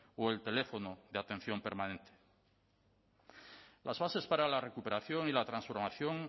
o el teléfono de atención permanente las bases para la recuperación y la transformación